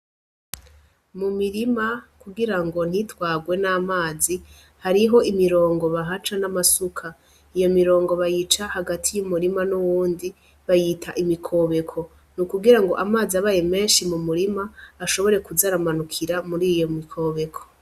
Mu mirima kugira ngo ntitwarwe n'amazi hariho imirongo bahaca n'amasuka iyo mirongo bayica hagati y'umurima n'uwundi bayita imikobeko ni ukugira ngo amazi abaye menshi mu murima ashobore kuzaramanukira muri iyo mikobeko.